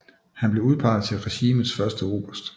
Han blev udpeget til regimentets første oberst